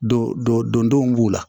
Don dɔ don denw b'u la